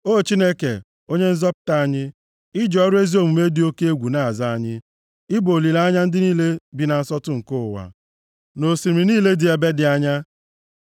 O Chineke, Onye nzọpụta anyị, i ji ọrụ ezi omume dị oke egwu na-aza anyị, ị bụ olileanya ndị niile bi na nsọtụ nke ụwa, na osimiri niile dị ebe dị anya,